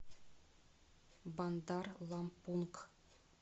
бандар лампунг